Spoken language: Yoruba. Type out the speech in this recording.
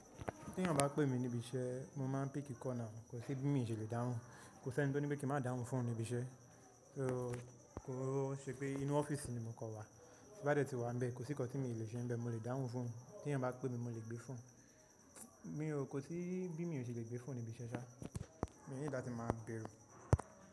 Tẹ̀yan bá pè mí níbi iṣẹ́, mo máa ń píki call náà, kò sí bí mi ò ṣe lè dáhùn. Kò sí ẹni tí ó ní pé kí má dáhùn fóònù níbi iṣẹ́. Kò ṣe pé inú ọ́fíìsì ni mo kọ wà, tí bá tẹ́ ti wà níbẹ̀, kò sí nǹkan tí mo lè ṣe níbẹ̀, mo lè dáhùn fóònù. Tẹ̀yan bá pè mí, mo lè gbé fóònù. Mi o, kò sí bí mi ò ṣe lè gbé fóònù níbi iṣẹ́ ṣá. Mi need lati máa bẹru.